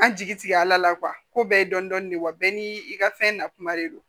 An jigi tigɛ ala la ko bɛɛ ye dɔndɔni de wa bɛɛ n'i ka fɛn nakuma de don